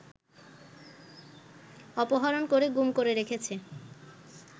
অপহরণ করে গুম করে রেখেছে